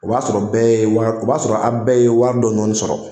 O b'a sɔrɔ bɛɛ o b'a sɔrɔ aw bɛɛ ye wari dɔɔnin dɔɔnin sɔrɔ